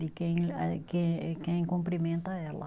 De quem eh, quem eh quem cumprimenta ela.